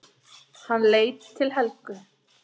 Hann leit til Helgu.